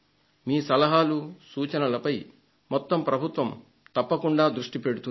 మీ సలహాలు సూచనలపై మొత్తం ప్రభుత్వం తప్పకుండా దృష్టి పెడుతుంది